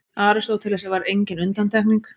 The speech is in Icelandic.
Aristóteles var engin undantekning.